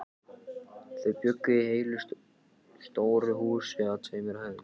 Þau bjuggu í heilu stóru húsi á tveimur hæðum.